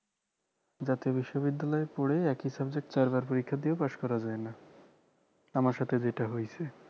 জাতীয় বিশ্ববিদ্যালয়ে পড়ে একই subject চারবার পরীক্ষা দিয়েও পাশ করা যায়না আমার সাথে যেটা হয়েছে